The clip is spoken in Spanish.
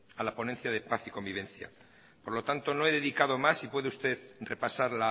a la ponencia de paz y convivencia por lo tanto no he dedicado más y puede usted repasar